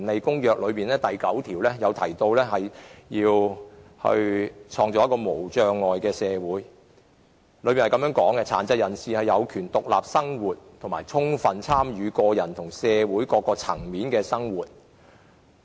《公約》第九條提及要創造一個無障礙的社會，當中訂明殘疾人士應能夠獨立生活和充分參與生活的各個方面。